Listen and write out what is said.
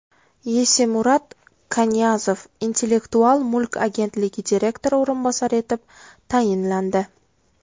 Yesemurat Kanyazov Intellektual mulk agentligi direktori o‘rinbosari etib tayinlandi.